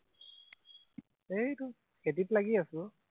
সেই তোৰ খেতিত লাগি আছো অ